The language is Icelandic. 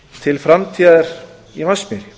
til framtíðar í vatnsmýri